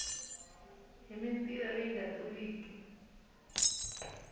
hi mitila leyi nga tluliki